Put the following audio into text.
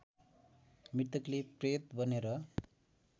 मृतकले प्रेत बनेर